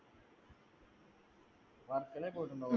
വർക്കലയിൽ പോയിട്ടുണ്ടോ